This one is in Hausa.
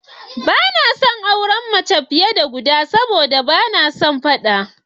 Ba na son auren mace fiye da guda sabo da ba na son faɗa.